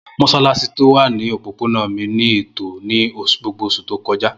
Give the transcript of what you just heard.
Mossalassi ti o wa ni opopona mi ni eto ni gbogbo oṣu to kọja.